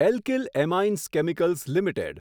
alkyl amines chemicals limited